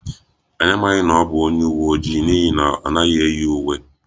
Anyị amaghị na ọ bụ onye uwe ojii n'ihi na ọ naghị eyi uwe